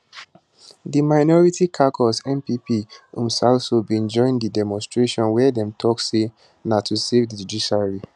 di minority caucus npp mpsalso bin join di demonstration wia dem tok say na to savethejudiciary